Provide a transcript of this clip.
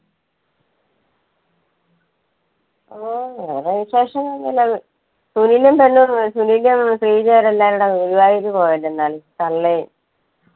ഓ വേറെ വിശേഷങ്ങൾ ഒന്നും ഇല്ല. സുനിലും പെണ്ണുംഎല്ലാരും കൂടെ ഗുരുവായൂർ പോയേക്കുന്നത് ആണ്. തള്ളേം.